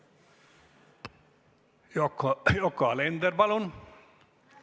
Yoko Alender, palun!